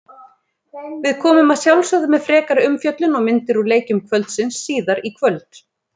Við komum að sjálfsögðu með frekari umfjöllun og myndir úr leikjum kvöldsins síðar í kvöld.